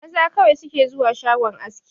Maza kawai su ke zuwa shagon aski